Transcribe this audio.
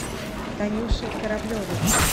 танюши кораблевой